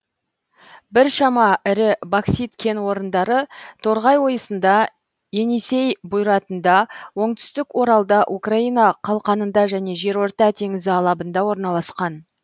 біршама ірі боксит кен орындары торғай ойысында енисей бұйратында оңтүстік оралда украина қалқанында және жерорта теңізі алабында орналасқан